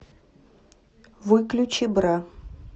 выключи бра